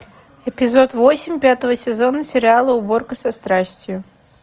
эпизод восемь пятого сезона сериала уборка со страстью